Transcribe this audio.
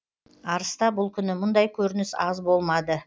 арыста бұл күні мұндай көрініс аз болмады